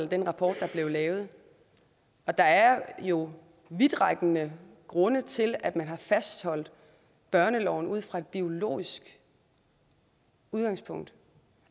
den rapport der blev lavet der er jo vidtrækkende grunde til at man har fastholdt børneloven ud fra et biologisk udgangspunkt